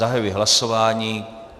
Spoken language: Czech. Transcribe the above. Zahajuji hlasování.